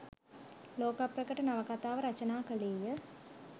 ලෝක ප්‍රකට නවකතාව රචනා කළේය